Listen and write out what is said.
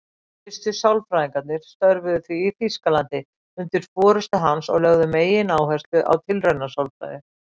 Fyrstu sálfræðingarnir störfuðu því í Þýskalandi undir forystu hans og lögðu megináherslu á tilraunasálfræði.